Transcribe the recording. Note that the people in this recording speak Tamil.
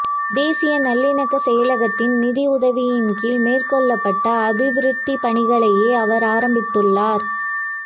தேசிய நல்லிணக்க செயலகத்தின் நிதி உதவியின் கீழ் மேற்கொள்ளப்பட்ட அபிவிருத்திப் பணிகளையே அவர் ஆரம்பித்துள்ளார்